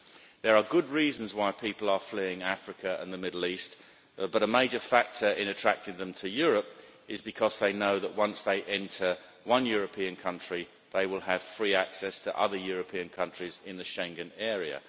There are good reasons why people are fleeing Africa and the Middle East, but a major factor in attracting them to Europe is that they know that once they enter one European country, they will have free access to other European countries in the Schengen area.